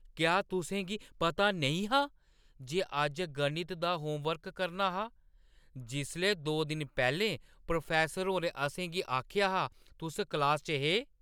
क्या तुसें गी पता नेईं हा जे अज्ज गणित दा होमवर्क करना हा? जिसलै दो दिन पैह्‌लें प्रोफैस्सर होरें असें गी आखेआ हा, तुस क्लासा च हे ।